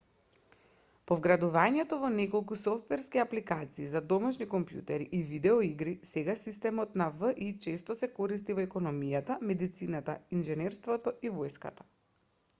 по вградувањето во неколку софтверски апликации за домашни компјутери и видеоигри сега системот на ви често се користи во економијата медицината инженерството и војската